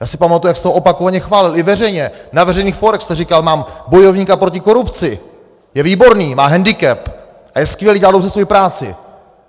Já si pamatuji, jak jste ho opakovaně chválil i veřejně, na veřejných fórech jste říkal, mám bojovníka proti korupci, je výborný, má hendikep a je skvělý, dělá dobře svoji práci!